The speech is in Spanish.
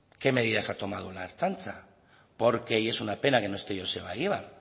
qué medidas ha tomado la ertzaintza porque y es una pena que no esté joseba egibar